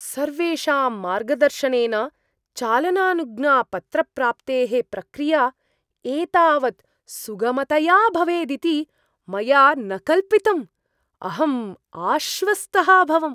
सर्वेषां मार्गदर्शनेन चालनानुज्ञापत्रप्राप्तेः प्रक्रिया एतावत् सुगमतया भवेदिति मया न कल्पितम्, अहं आश्वस्तः अभवम्।